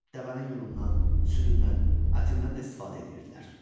Dəvənin yunundan, südündən, ətindən də istifadə eləyirdilər.